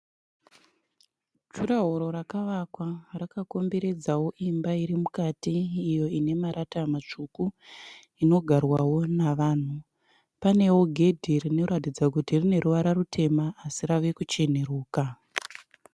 Juraworo rakavakwa rakakomberedza imba iri mukati iyo ine marata matsvuku iyo inogara vanhu. Panewo gedhe rine ruvara rutema asi rave kuhcenuruka.